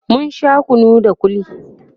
mun Sha kunu da kulli